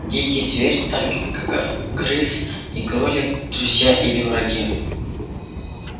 дикий зверь так как крыс и кролик друзья или враги